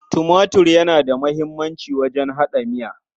Tumatir yana da muhimmanci wajen haɗa miya.